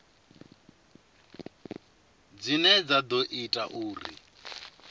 dzine dza ḓo ita uri